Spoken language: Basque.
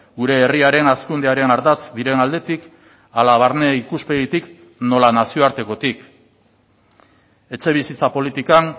gure herriaren hazkundearen ardatz diren aldetik hala barne ikuspegitik nola nazioartekotik etxe bizitza politikan